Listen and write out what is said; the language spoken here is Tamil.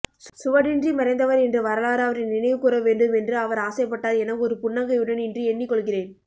சுவடின்றி மறைந்தவர் என்று வரலாறு அவரை நினைவுகூரவேண்டும் என்று அவர் ஆசைப்பட்டார் என ஒரு புன்னகையுடன் இன்று எண்ணிக்கொள்கிறேன்